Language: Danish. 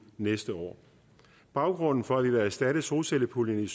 næste år baggrunden for at vi vil erstatte solcellepuljen i